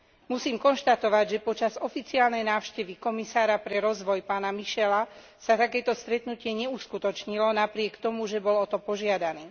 Musím konštatovať, že počas oficiálnej návštevy komisára pre rozvoj pána Michela, sa takéto stretnutie neuskutočnilo, napriek tomu, že bolo o to požiadané.